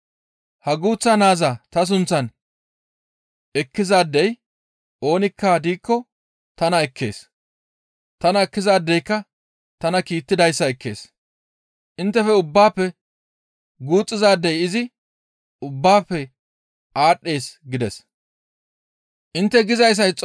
«Ha guuththa naaza ta sunththan ekkizaadey oonikka diikko tana ekkees; tana ekkizaadeyka tana kiittidayssa ekkees; inttefe ubbatappe guuxxizaadey izi ubbaafe aadhdhees» gides.